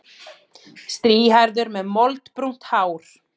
Strýhærður með moldbrúnt hár.